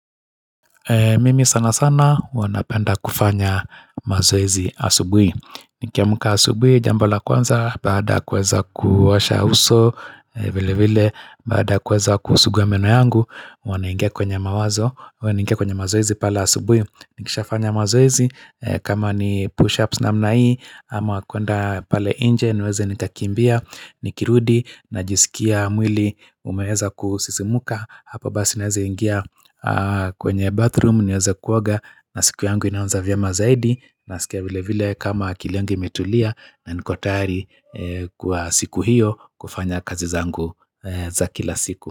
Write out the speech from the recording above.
Mimi sana sana huwa na penda kufanya mazoezi asubuhi. Nikiamka asubuhi, jambo la kwanza, baada kuweza kuosha uso, vile vile, bada kuweza kusuguwa meno yangu, huwana nainigia kwenye mawazo, wana inge kwenye mazoezi pale asubuhi. Nikisha fanya mazoezi, kama ni push-ups na mnai, ama kwenda pale nje, nweze nikakimbia, nikirudi, najisikia mwili, umeweza kusisimka, hapa naweza ingia kwenye bathroom niweza kuoaga na siku yangu inaanza vyema zaidi na sike wile vile kama akili imetulia na niko tayari kwa siku hiyo kufanya kazi zangu za kila siku.